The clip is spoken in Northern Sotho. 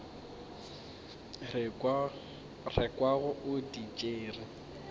re kwago o di tšere